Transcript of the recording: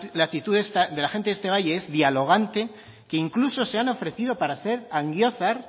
la actitud de la gente de este valle es dialogante que incluso se han ofrecido para ser angiozar